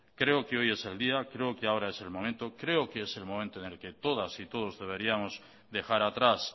creo que es el momento en el que todas y todos deberíamos dejar atrás